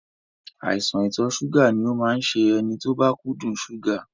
Àìsàn ìtọ̀ ṣúgà ni ó máa ń ṣe ẹni tó bá kúndùn ṣúgà